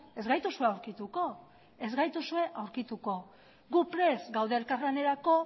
ez gaituzue aurkituko ez gaituzue aurkituko gu prest gaude elkarlanerako